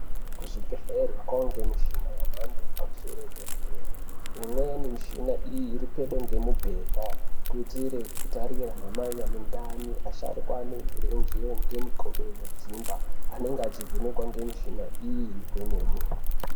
Kuzvibhedhleri kwawe ngemuchina yemando yepamusoro dera deraimweni mishina iyi iri pedo nemibhedhakuitire kutarira anamai ane ndani asharuka ane renjere Ngemikodo inodzimba anennga achivhenekwa nemishina iyi kwemene.